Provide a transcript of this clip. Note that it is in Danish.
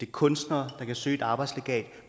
kunstnere der kan søge et arbejdslegat